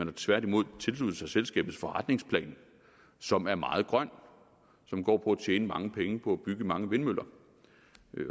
har tværtimod tilsluttet sig selskabets forretningsplan som er meget grøn og som går på tjene mange penge på at bygge mange vindmøller